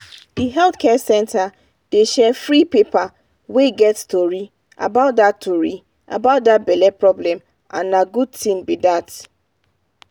the health center dey share free paper wey get tory about that tory about that belle problem and na good thing be that